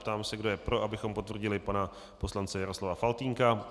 Ptám se, kdo je pro, abychom potvrdili pana poslance Jaroslava Faltýnka.